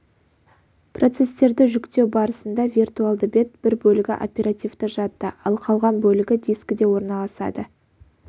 процестерді жүктеу барысында виртуальды бет бір бөлігі оперативті жадыда ал қалған бөлігі дискіде орналасады